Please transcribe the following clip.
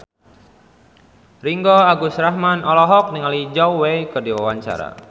Ringgo Agus Rahman olohok ningali Zhao Wei keur diwawancara